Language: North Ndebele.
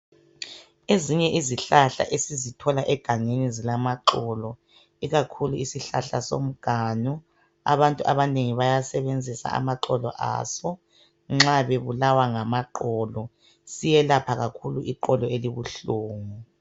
Ezinye izihlahla esizithola egangeni zilamaxolo ikakhulu isihlahla somganu abantu abanengi bayasebenza amaxolo aso ikakhulu nxa bebulawa ngamoxolo siyelapha kakhulu ixolo elibuhlungu.